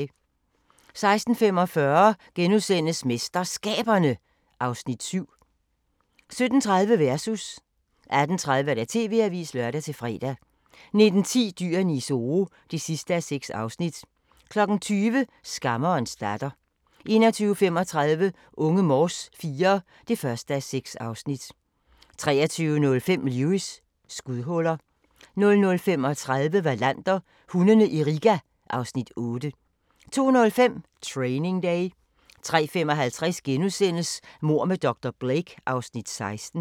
16:45: MesterSkaberne (Afs. 7)* 17:30: Versus 18:30: TV-avisen (lør-fre) 19:10: Dyrene i Zoo (6:6) 20:00: Skammerens datter 21:35: Unge Morse IV (1:6) 23:05: Lewis: Skudhuller 00:35: Wallander: Hundene i Riga (Afs. 8) 02:05: Training Day 03:55: Mord med dr. Blake (Afs. 16)*